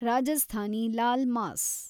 Rajasthani laal mass